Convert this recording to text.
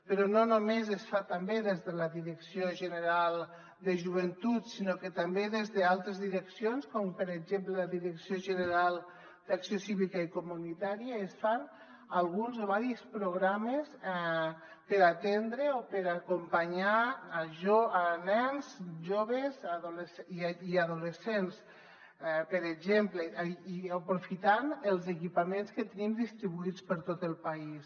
però no només es fa també des de la direcció general de joventut sinó que també des d’altres direccions com per exemple la direcció general d’acció cívica i comunitària es fan alguns o diversos programes per atendre o per acompanyar nens joves i adolescents per exemple i aprofitant els equipaments que tenim distribuïts per tot el país